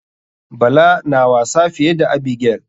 Bala na wasa fiye da abigail.